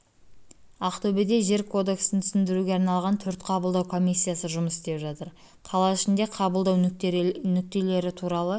ақтөбеде жер кодексін түсіндіруге арналған төрт қабылдау комиссиясы жұмыс істеп жатыр қала ішіндегі қабылдау нүктелері туралы